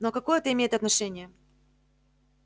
ну а какое это имеет отношение